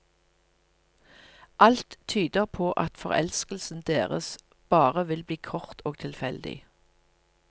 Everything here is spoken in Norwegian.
Alt tyder på at forelskelsen deres bare vil bli kort og tilfeldig.